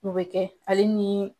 O bɛ kɛ ale ni